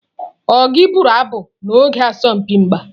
Ọ gị bụrụ abụ n'oge asọmpi mgba?